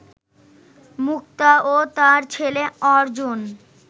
মুক্তা ও তার ছেলে অর্জন